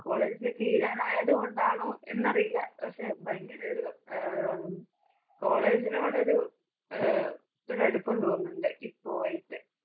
college തി~തീരാനായതുകൊണ്ടാണോ എന്നറിയില്ല. പക്ഷെ ഭയങ്കരൊരു ആഹ് കോളേജിനോടൊരു അഹ് ഒരടുപ്പം തോന്നുന്നുണ്ട്. ഇപ്പോ ആയിട്ട്.